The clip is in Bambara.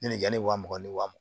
Ɲinɛ ni wa mugan ni wa mugan